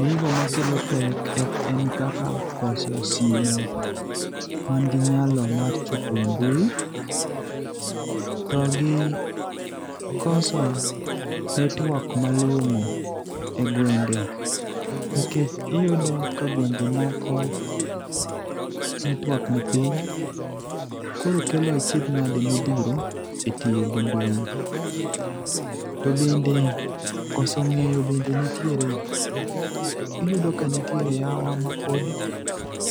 Gigo makelo pek en kaka koso simu man gi nyalo mar chopo e mbui, to gi koso network malong'o e gwenge, nikech iyudo ka gwenge moko network ni piny, koro kelo achiedh nade modhuro,e tiyo gi mbui. To bende, koso ng'eyo bende nitiere. Iyudo ka nitiere yawowa mapod